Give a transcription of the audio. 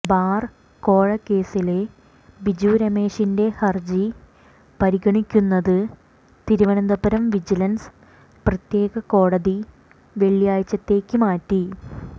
bar കോഴ കേസില് ബിജു രമേശിന്റെ ഹര്ജി പരിഗണിക്കുന്നത് തിരുവനന്തപുരം വിജിലന്സ് പ്രത്യേക കോടതി വെള്ളിയാഴ്ചത്തേക്ക് മാറ്റി